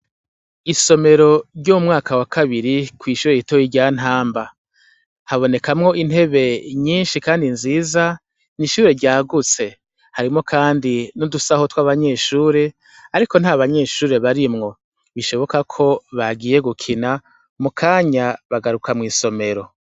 Isomero ry'u mwaka wa kabiri kw'ishure ritoye ryantamba habonekamwo intebe nyinshi, kandi nziza ni ishure ryagutse harimwo, kandi no dusaho tw'abanyeshure, ariko nta banyeshure barimwo bishoboka ko bagiye gukina mu kanya bagaruka mw'isomero.